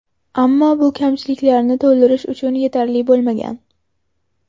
Ammo bu kamchiliklarni to‘ldirish uchun yetarli bo‘lmagan.